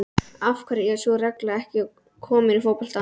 Af hverju er sú regla ekki komin í fótbolta?